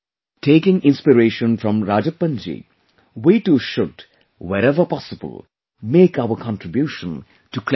Taking inspiration from Rajappan ji, we too should, wherever possible, make our contribution to cleanliness